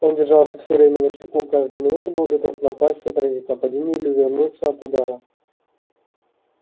он держался всё время начеку каждую минуту был готов напасть отразить нападение или увернуться от удара